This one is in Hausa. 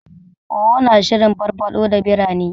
Owo na shirin farfaɗo da birane.